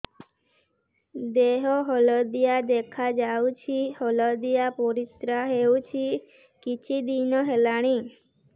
ଦେହ ହଳଦିଆ ଦେଖାଯାଉଛି ହଳଦିଆ ପରିଶ୍ରା ହେଉଛି କିଛିଦିନ ହେଲାଣି